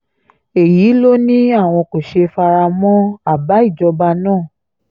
èyí ló ní àwọn kò ṣe fara mọ́ àbá ìjọba náà